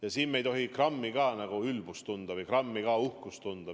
Aga siin me ei tohi grammigi ülbust või grammigi uhkust tunda.